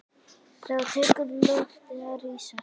Þá tekur loftið að rísa.